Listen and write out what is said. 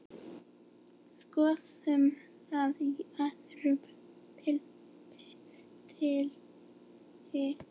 Skoðum það í öðrum pistli.